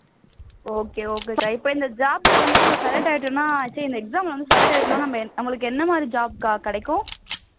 okay okay க்கா இந்த job ல வந்து நம்ம select ஆயிட்டோம்னா சீ இந்த exam ல வந்து select ஆகிட்டோம்னா நம்ம நம்மளுக்கு என்ன மாதிரியான job க்கா கிடைக்கும்